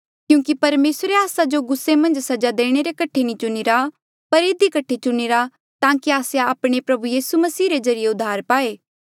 क्यूंकि परमेसरे आस्सा जो गुस्से मन्झ सजा देणे रे कठे नी चुणीरा पर इधी कठे चुणीरा ताकि आस्से आपणे प्रभु यीसू मसीह रे ज्रीए उद्धार पाए